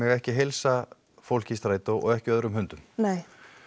ekki heilsa fólki í strætó og ekki öðrum hundum nei